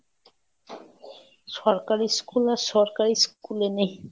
সরকারি school আর সরকারি schoolএ নেই,